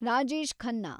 Rajesh Khanna